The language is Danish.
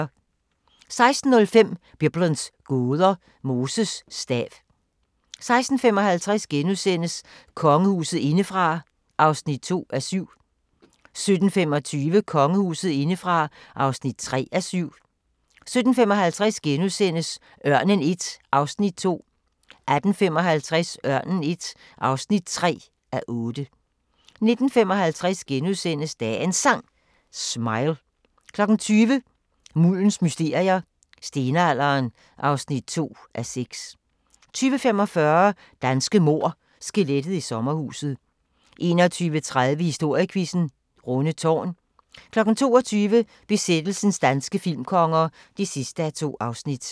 16:05: Biblens gåder – Moses stav 16:55: Kongehuset indefra (2:7)* 17:25: Kongehuset indefra (3:7) 17:55: Ørnen I (2:8)* 18:55: Ørnen I (3:8) 19:55: Dagens Sang: Smile * 20:00: Muldens mysterier – Stenalderen (2:6) 20:45: Danske mord – Skelettet i sommerhuset 21:30: Historiequizzen: Rundetårn 22:00: Besættelsens danske filmkonger (2:2)